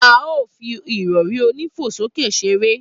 A o fi ìrọrí onífo sókè ṣeré